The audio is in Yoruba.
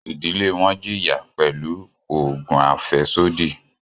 Ìdílé wọn jìya pẹlu oògùn afẹsodi.